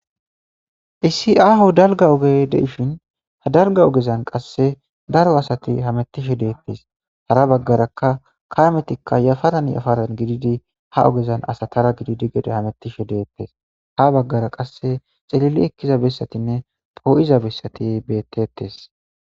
Issi aho dalga ogey deishin ha dalga ogezan qasse daro asati hamettishe de'etes hara baggaraka kametikka yafaran yafaran gididi ha ogezan asatara gididi gede hamettishe deettes ha baggara qasse xelili ekkiza bessatinne poo7iza bessati betes